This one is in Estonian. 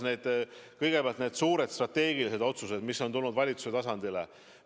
Kõigepealt, need suured strateegilised otsused, mis on tulnud valitsuse tasandile.